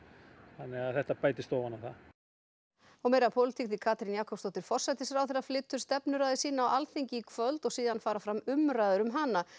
þannig að þetta bætist ofan á það og meira af pólitík því Katrín Jakobsdóttir forsætisráðherra flytur stefnuræðu sína á Alþingi í kvöld og síðan fara fram umræður um hana